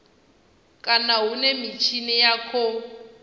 kana hune mitshini ya khou